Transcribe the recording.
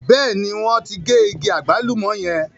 Bẹ́ẹ̀ ní, wọ́n ti gé igi àgbálùmọ̀ yẹn.